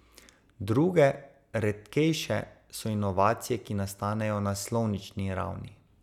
Druge, redkejše, so inovacije, ki nastanejo na slovnični ravni.